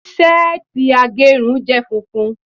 seeti agerun je funfun